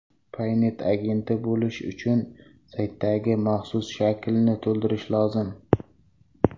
Paynet agenti bo‘lish uchun saytdagi maxsus shaklni to‘ldirish lozim.